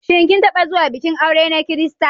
Shin kin taɓa zuwa bikin aure na Kirista?